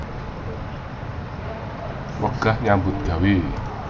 Wegah nyambut gawé